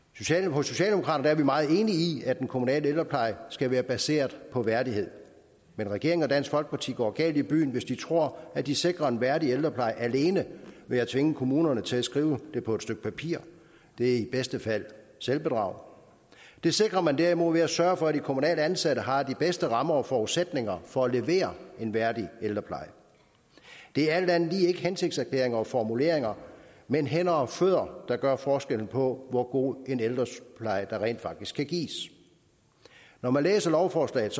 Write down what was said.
hos socialdemokraterne er vi meget enige i at den kommunale ældrepleje skal være baseret på værdighed men regeringen og dansk folkeparti går galt i byen hvis de tror at de sikrer en værdig ældrepleje alene ved at tvinge kommunerne til at skrive det på et stykke papir det er i bedste fald selvbedrag det sikrer man derimod ved at sørge for at de kommunalt ansatte har de bedste rammer og forudsætninger for at levere en værdig ældrepleje det er alt andet lige ikke hensigtserklæringer og formuleringer men hænder og fødder der gør forskellen på hvor god en ældrepleje der rent faktisk kan gives når man læser lovforslaget